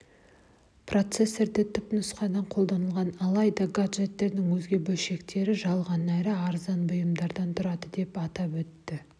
процессердің түпнұсқасы қолданылған алайда гаджеттің өзге бөлшектері жалған әрі арзан бұйымдардан тұрады деп атап өтті